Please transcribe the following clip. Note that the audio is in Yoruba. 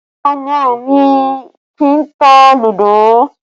Ọmọ mi kì í tá ludo